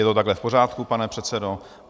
Je to takhle v pořádku, pane předsedo?